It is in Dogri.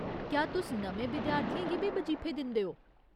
क्या तुस नमें विद्यार्थियें गी बी बजीफे दिंदे ओ ?